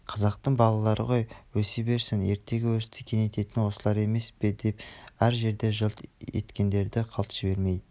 қазақтың балалары ғой өсе берсін ертеңгі өрісті кеңейтетін осылар емес пе деп әр жерде жылт еткендерді қалт жібермей